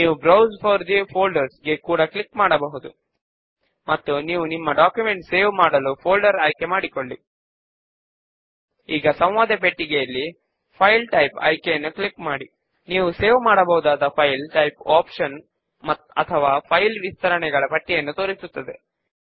ఇప్పుడు ఇక్కడ add subform check box ను చెక్ చేసి subform based on manual selection of fields option పైన క్లిక్ చేద్దాము